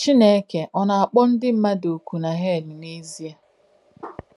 Chìnéke ọ̀ nà-àkpọ̀ ndí m̀madù ọ́kù nà Hèl n’ézíē?